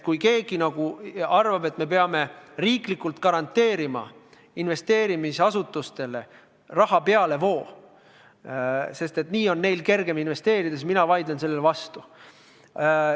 Kui keegi arvab, et me peame riiklikult garanteerima investeerimisasutustele raha pealevoo, sest nii on neil kergem investeerida, siis mina vaidlen sellele vastu.